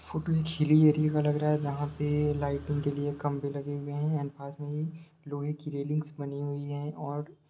photo एक hilly area का लग रहा है जहां पे लाइटिंग के लिए खंभे लगे हुए हैं एण्ड पास में ही लोहे की रैलिंग्स बनी हुई है और --